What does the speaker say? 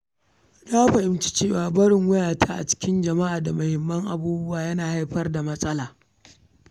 Na fahimci cewa barin wayata da kuma muhimman kayayyaki a bainar jama’a yana iya haifar da matsala.